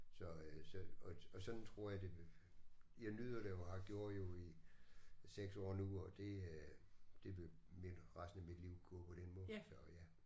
Så øh så og sådan tror jeg det vil jeg nyder det jo og har gjort jo i 6 år nu og det øh det vil mit resten af mit liv gå på den måde så ja